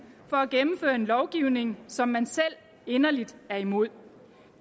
for at gennemføre en lovgivning som man selv inderligt er imod